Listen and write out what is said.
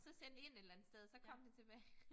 Og så sende ind et eller andet sted og så kom det tilbage